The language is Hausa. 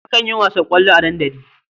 Akan yi wasan ƙwallo a dandali.